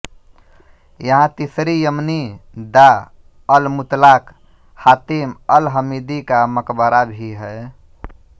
यहां तीसरी यमनी दा अलमुतलाक हातिम अलहमीदी का मकबरा भी है